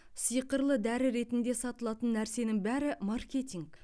сиқырлы дәрі ретінде сатылатын нәрсенің бәрі маркетинг